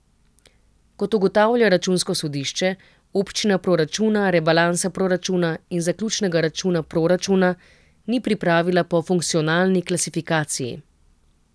Kot ugotavlja računsko sodišče, občina proračuna, rebalansa proračuna in zaključnega računa proračuna ni pripravila po funkcionalni klasifikaciji.